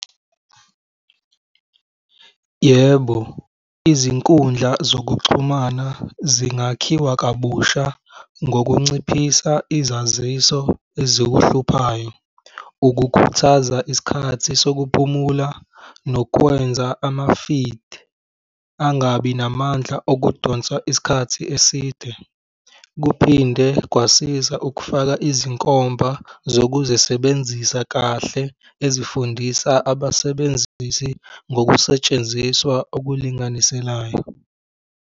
Yebo, izinkundla zokuxhumana zingakhiwa kabusha ngokunciphisa izaziso ezikuhluphayo, ukukhuthaza isikhathi sokuphumula nokwenza ama-feed angabi namandla okudonsa isikhathi eside. Kuphinde kwasiza ukufaka izinkomba zokuzesebenzisa kahle ezifundisa abasebenzisi ngokusetshenziswa okulinganiselayo.